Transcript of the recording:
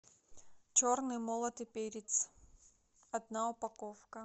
черный молотый перец одна упаковка